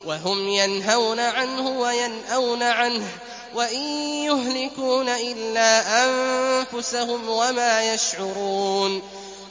وَهُمْ يَنْهَوْنَ عَنْهُ وَيَنْأَوْنَ عَنْهُ ۖ وَإِن يُهْلِكُونَ إِلَّا أَنفُسَهُمْ وَمَا يَشْعُرُونَ